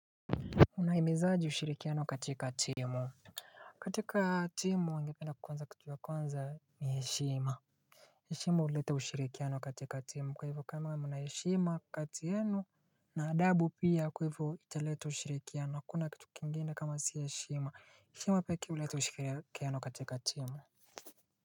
Unahimizaje ushirikiano katika timu katika timu naingependa kwanza kitu ya kwanza ni heshima. Heshima huleta ushirikiano katika timu kwa hivyo kama mna heshima kati yenu na adabu pia kwa hivyo italeta ushirikiano, hakuna kitu kingine kama si heshima. Heshima pekee huleta ushirikiano katika timu.